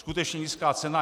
Skutečně nízká cena.